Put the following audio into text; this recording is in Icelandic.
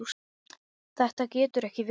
Þetta getur ekki verið!